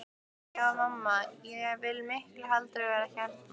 Já en mamma, ég vil miklu heldur vera hérna.